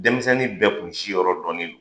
Denmisɛnnin bɛɛ tun siyɔrɔ dɔninen don.